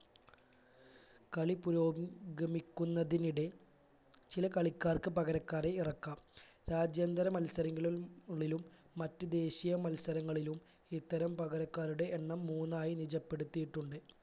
കളി പുരോഗ് ഗമിക്കുന്നതിനിടെ ചില കളിക്കാർക്ക് പകരക്കാരെ ഇറക്കാം രാജ്യാന്തര മത്സരങ്ങളിൽ ഉള്ളിലും മറ്റു ദേശീയ മത്സരങ്ങളിലും ഇത്തരം പകരക്കാരുടെ എണ്ണം മൂന്നായി നിജപ്പെടുത്തിയിട്ടുണ്ട്